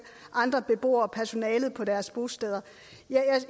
andre beboere og personalet på deres bosteder